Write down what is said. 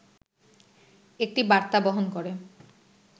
একটি বার্তা বহন করে